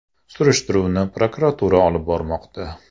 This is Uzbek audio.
Surishtiruvni prokuratura olib bormoqda.